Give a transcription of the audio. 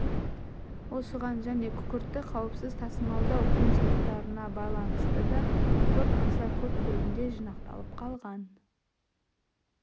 осыған және күкіртті қауіпсіз тасымалдау қиыншылықтарына байланысты да күкірт аса көп көлемде жинақталып қалған